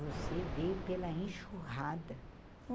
Você veio pela enxurrada.